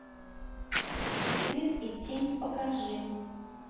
свет и тень покажи